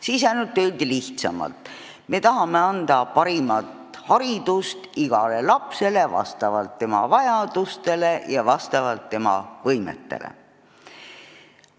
Siis ainult öeldi lihtsamalt: me tahame anda parimat haridust igale lapsele vastavalt tema vajadustele ja vastavalt tema võimetele.